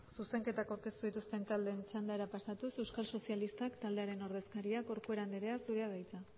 zuzenketak aurkeztu dituzten taldeen txandara pasatuz euskal sozialistak taldearen ordezkaria corcuera anderea zurea da hitza